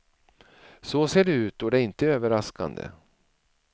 Så ser det ut och det är inte överraskande.